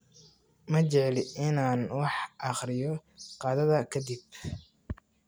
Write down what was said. Ma jecli in aan wax akhriyo qadada ka dib